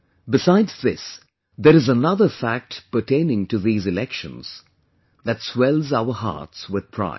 Besides this, there is another fact pertaining to these Elections, that swells our hearts with pride